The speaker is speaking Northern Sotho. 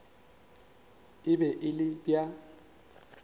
e be e le bja